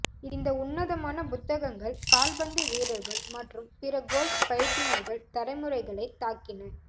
இந்த உன்னதமான புத்தகங்கள் கால்பந்து வீரர்கள் மற்றும் பிற கோல்ஃப் பயிற்றுனர்கள் தலைமுறைகளை தாக்கின